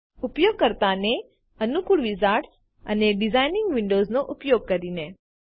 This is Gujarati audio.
ઉપયોગકર્તા ને અનુકુળ વિઝાર્ડ્સ અને ડીઝાઇનિંગ વિન્ડોઝ નો ઉપયોગ કરીને